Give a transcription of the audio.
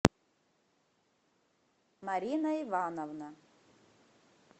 марина ивановна